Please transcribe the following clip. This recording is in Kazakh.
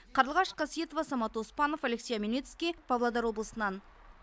қарлығаш қасиетова самат оспанов алексей омельницкий павлодар облысынан